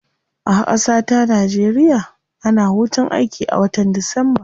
A kasata nigeria, ana hutun aiki a watan disamba.